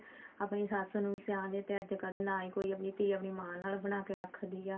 ਆਪਣੀ ਸੱਸ ਨੂੰ ਸਿਆਣ ਦੀ ਤੇ ਅੱਜਕਲ ਨਾ ਹੀ ਕੋਈ ਧੀ ਆਪਣੀ ਮਾਂ ਨਾਲ ਬਣਾ ਕੇ ਰੱਖਦੀ ਆ